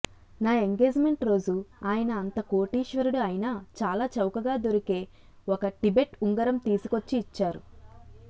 నా ఎంగేజ్మెంట్ రోజు ఆయన అంత కోటీశ్వరుడు అయినా చాలా చౌకగా దొరికే ఒక టిబెట్ ఉగరం తీసుకొచ్చి ఇచ్చారు